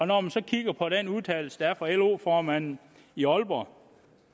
når man så kigger på den udtalelse der er kommet fra lo formanden i aalborg